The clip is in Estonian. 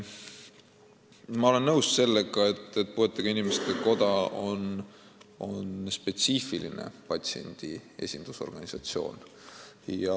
Ma olen nõus sellega, et puuetega inimeste koda on spetsiifiline patsientide esindusorganisatsioon.